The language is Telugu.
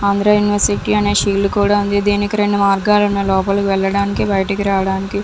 ఆంధ్ర యూనివర్సిటీ అనే షీల్డ్ కూడా ఉంది దీనికి రెండు మార్గాలు ఉన్నాయ్ లోపలికి వెళ్ళడానికి బయటికి రాడానికి.